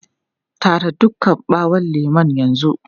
Tara duka ɓawon lemun yanzu!